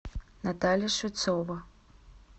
наталья швецова